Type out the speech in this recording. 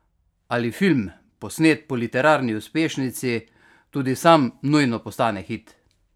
Ali film, posnet po literarni uspešnici, tudi sam nujno postane hit?